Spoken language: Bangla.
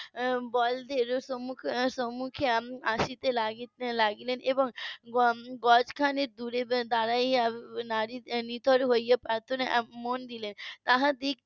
বলদের সমুখে~ সমুখে আসতে লাগলো এবং গজ খানেক দূরে দাঁড়িয়ে নিথর হওয়ার প্রার্থনায় মন দিলেন